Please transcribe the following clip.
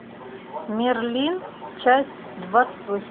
мерлин часть двадцать восемь